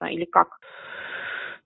а или как